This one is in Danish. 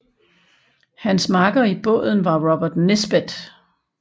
Hans makker i båden var Robert Nisbet